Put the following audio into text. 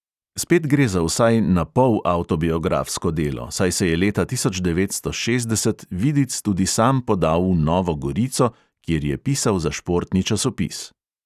Spet gre za vsaj napol avtobiografsko delo, saj se je leta tisoč devetsto šestdeset vidic tudi sam podal v novo gorico, kjer je pisal za športni časopis.